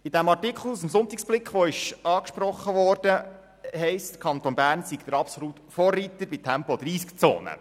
In diesem Artikel aus dem «Sonntagsblick», der angesprochen wurde, heisst es, der Kanton Bern sei der absolute Vorreiter bei Tempo-30-Zonen.